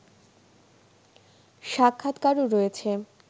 সাক্ষাতকারও রয়েছে